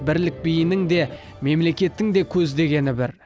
бірлік биінің де мемлекеттің де көздегені бір